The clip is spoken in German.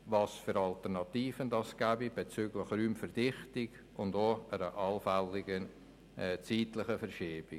Welche Alternativen gibt es bezüglich der Raumverdichtung und einer allfälligen zeitlichen Verschiebung?